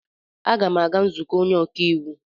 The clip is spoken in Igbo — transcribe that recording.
M ga-aga nzukọ onye ọka iwu.